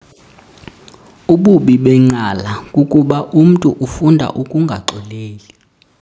Ububi benqala kukuba umntu ufunda ukungaxoleli.